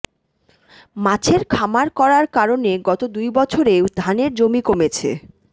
মাছের খামার করার কারণে গত দুই বছরে ধানের জমি কমেছে